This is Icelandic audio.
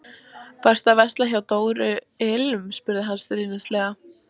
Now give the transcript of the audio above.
Varstu að versla hjá Dóru ilm? spurði hann stríðnislega.